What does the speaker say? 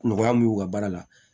Nɔgɔya min y'u ka baara la